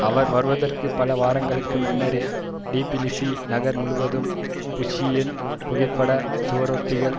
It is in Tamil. அவர் வருவதற்குப் பல வாரங்களுக்கு முன்னரே டிபிலிசி நகர் முழுவதும் புஷ்ஷின் புகைப்பட சுவரொட்டிகள்